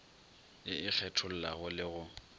ye e kgethollago le go